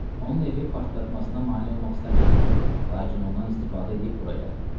Onun evi partlatmasına mane olmaq istəmədim, lakin ondan istifadə eləyib bura gəldim.